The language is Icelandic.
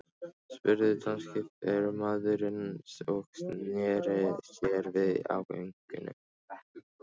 spurði danski fylgdarmaðurinn og sneri sér við á göngunni.